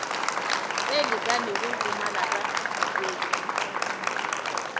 e lekanego go malapa dikolo